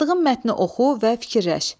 Yazdığın mətni oxu və fikirləş.